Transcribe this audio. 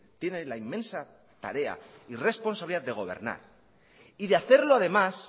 tiene la inmensa tarea y responsabilidad de gobernar y de hacerlo además